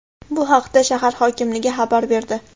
Bu haqda shahar hokimligi xabar berdi.